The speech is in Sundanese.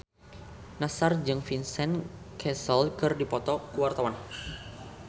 Nassar jeung Vincent Cassel keur dipoto ku wartawan